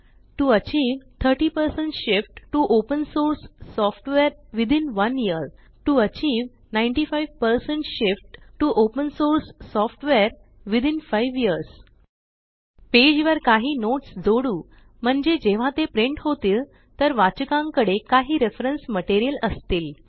TO achieve 30 shift to open source software within 1 year to achieve 95 shift to open source software within 5 years page वर काही notes जोडू म्हणजे जेव्हा ते प्रिंट होतील तर वाचकांकडे काही रेफरेन्स मटेरियल असतील